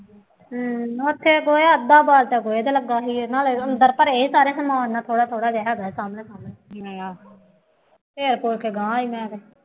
ਹੂੰ ਉੱਥੇ ਗੋਹਾ ਅੱਧਾ ਬਾਲਟਾ ਗੋਹੇ ਦਾ ਲੱਗਾ ਸੀ ਨਾਲੇ ਅੰਦਰ ਭਰੇ ਸਾਰੇ ਸਮਾਨ ਨਾਲ ਥੋੜ੍ਹਾ ਥੋੜ੍ਹਾ ਜੇ ਹੈਗਾ, ਫੇਰ ਫੂਰ ਕੇ ਗਾਂਹ ਆਈ ਹਾਂ,